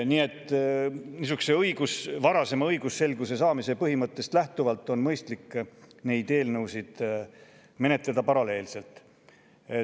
Õigusselguse varasema saavutamise põhimõttest lähtuvalt on mõistlik neid eelnõusid menetleda paralleelselt.